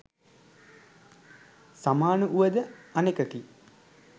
සමාන වුව ද අනෙකකි.